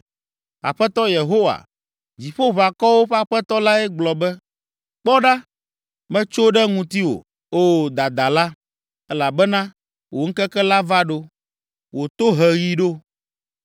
Aƒetɔ Yehowa, Dziƒoʋakɔwo ƒe Aƒetɔ lae gblɔ be, “Kpɔ ɖa, metso ɖe ŋutiwò, O dadala, elabena wò ŋkeke la va ɖo, wò toheɣi ɖo.